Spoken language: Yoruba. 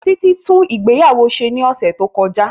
Títí tún ìgbéyàwó ṣe ní ọ̀sẹ̀ tó kọjá